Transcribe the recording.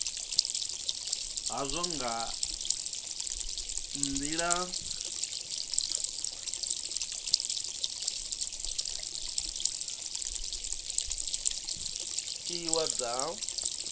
hazwo nga nila tiwa dza